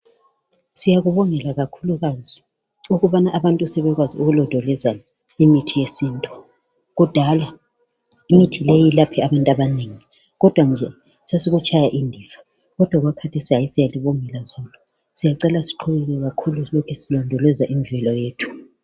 Siyakubongela kakhulukazi ukubana abantiu sebekwazi ukulondoloza imithi yesintu kudala imithi leyi yelaphe abantu abanengi kodwa nje sesikutshaya indiva kodwa okwakhathesi siyalibongela siyacela siqhubeke kakhulu silondoloza indlela yethu